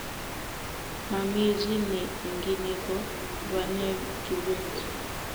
mamie chii ne ingine ko bane Kibet